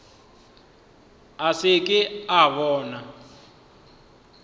a se ke a bona